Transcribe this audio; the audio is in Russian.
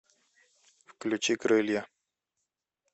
включи крылья